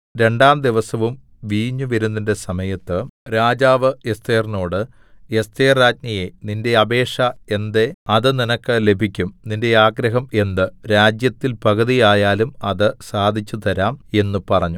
രണ്ടാം ദിവസവും വീഞ്ഞുവിരുന്നിന്റെ സമയത്ത് രാജാവ് എസ്ഥേറിനോട് എസ്ഥേർ രാജ്ഞിയേ നിന്റെ അപേക്ഷ എന്ത് അത് നിനക്ക് ലഭിക്കും നിന്റെ ആഗ്രഹം എന്ത് രാജ്യത്തിൽ പകുതി ആയാലും അത് സാധിച്ചുതരാം എന്ന് പറഞ്ഞു